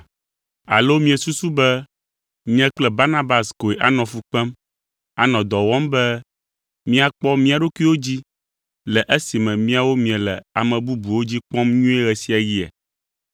Alo miesusu be nye kple Barnabas koe anɔ fu kpem, anɔ dɔ wɔm be míakpɔ mía ɖokuiwo dzi, le esime miawo miele ame bubuwo dzi kpɔm nyuie ɣe sia ɣia?